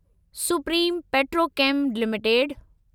supreme Petrochem limited